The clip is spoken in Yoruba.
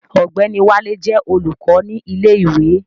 Ọ̀gbẹ́ni Wálé jẹ́ olùkọ́ ní ilé ìwé